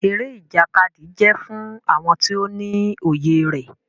Eré Ìjàkadì jẹ fún àwọn tó ní òye rẹ.